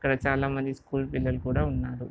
ఇక్కడ చాలామంది స్కూల్ పిల్లలు కూడా ఉన్నారు.